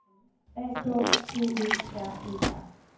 A K T Ø R E R